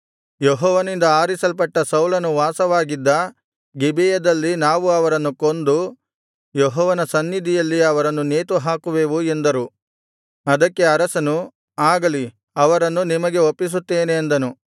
ಯೆಹೋವನಿಂದ ಆರಿಸಲ್ಪಟ್ಟ ಸೌಲನು ವಾಸವಾಗಿದ್ದ ಗಿಬೆಯದಲ್ಲಿ ನಾವು ಅವರನ್ನು ಕೊಂದು ಯೆಹೋವನ ಸನ್ನಿಧಿಯಲ್ಲಿ ಅವರನ್ನು ನೇತು ಹಾಕುವೆವು ಎಂದರು ಅದಕ್ಕೆ ಅರಸನು ಆಗಲಿ ಅವರನ್ನು ನಿಮಗೆ ಒಪ್ಪಿಸುತ್ತೇನೆ ಅಂದನು